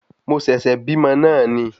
Mo sẹ̀sẹ̀ bímọ náà ni